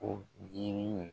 Ko jiri in